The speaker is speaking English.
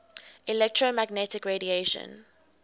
electromagnetic radiation